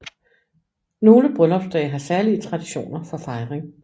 Nogle bryllupsdage har særlige traditioner for fejring